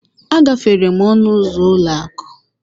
A gafere n'ọnụ ụzọ ụlọ akụ.